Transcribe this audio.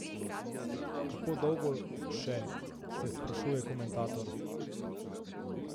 Kako dolgo še, se sprašuje komentator.